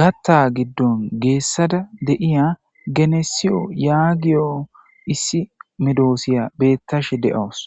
gaththaa giddon geessada de7iyaa genessiyo yaagiyo issi medoosiya beeththashe de7awus.